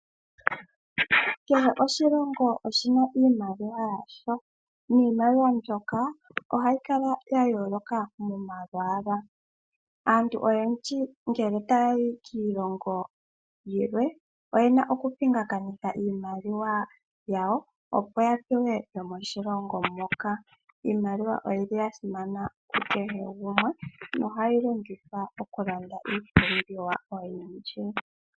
Kehe oshilongo oshi na iimaliwa yasho, niimaliwa mbyoka ohayi kala ya yooloka momalwaala. Aantu oyendji ngele taya yi kiilongo yilwe oye na okupingakanitha iimaliwa yawo opo ya pewe yomoshilongo moka. Iimaliwa oyili ya simana ku kehe gumwe nohayi longithwa okulanda iipumbiwa oyindji.